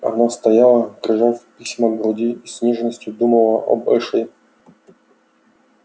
она стояла прижав письма к груди и с нежностью думала об эшли